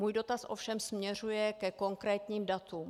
Můj dotaz ovšem směřuje ke konkrétním datům.